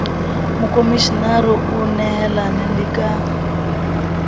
mokomishenara o nehelane le ka